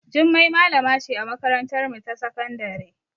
Jummai malama ce a makarantarmu ta sakandare.